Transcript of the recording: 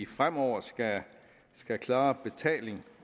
fremover skal klare betaling